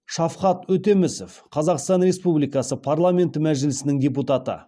шавхат өтемісов қазақстан республикасы парламенті мәжілісінің депутаты